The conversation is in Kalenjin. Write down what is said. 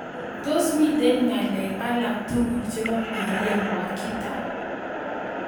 Tos' miten ng'alek alaktugul chebo Maria Wakita